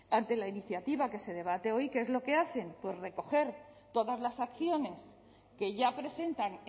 ante la iniciativa que se debate hoy qué es lo que hacen pues recoger todas las acciones que ya presentan